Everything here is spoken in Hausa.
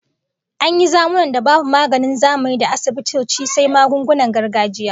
An yi zamunna da babu maganin zamanin da asibitoci sai magungunan gargajiya